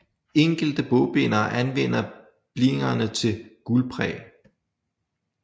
Enkelte bogbindere anvender blinierne til guldpræg